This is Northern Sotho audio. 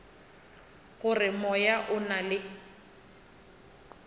gore moya o na le